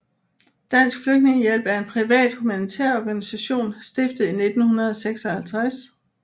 Dansk Flygtningehjælp er en privat humanitær organisation stiftet i 1956